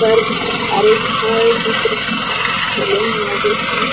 पर बहुत सारे फल दिख रहे है ठेले में लगे हुए--